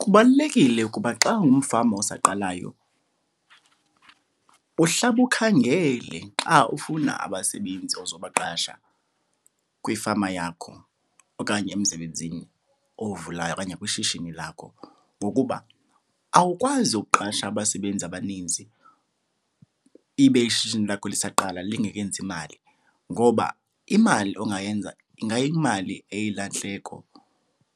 Kubalulekile ukuba xa ungumfama osaqalayo uhlabe ukhangele xa ufuna abasebenzi ozobaqasha kwifama yakho okanye emsebenzini owuvulayo okanye kwishishini lakho ngokuba awukwazi ukuqasha abasebenzi abaninzi ibe ishishini lakho lisaqala, lingekenzi imali. Ngoba imali ongayenza ingayimali eyilahleko